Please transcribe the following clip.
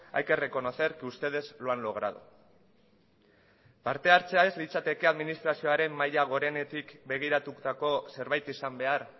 hay que reconocer que ustedes lo han logrado parte hartzea ez litzateke administrazioaren maila gorenetik begiratutako zerbait izan behar